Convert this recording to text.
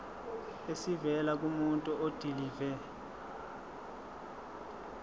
esivela kumuntu odilive